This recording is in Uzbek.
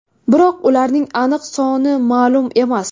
Biroq ularning aniq soni ma’lum emas.